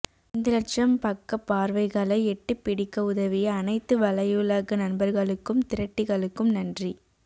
ஐந்து லட்சம் பக்கப் பார்வைகளை எட்டிப் பிடிக்க உதவிய அனைத்து வலையுலக நண்பர்களுக்கும் திரட்டிகளுக்கும் நன்றி